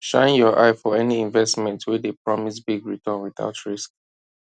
shine your eye for any investment wey dey promise big return without risk